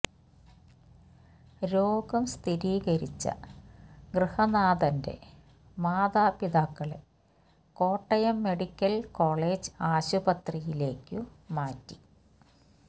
രോഗം സ്ഥിരീകരിച്ച ഗൃഹനാഥന്റെ മാതാപിതാക്കളെ കോട്ടയം മെഡിക്കല് കോളജ് ആശുപത്രിയിലേക്കു മാറ്റി